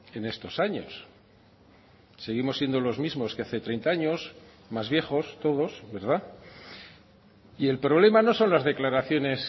en estos años seguimos siendo los mismos que hace treinta años más viejos todos verdad y el problema no son las declaraciones